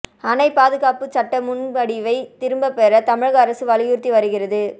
அணை பாதுகாப்பு சட்ட முன்வடிவை திரும்ப பெற தமிழக அரசு வலியுறுத்தி வருகிறது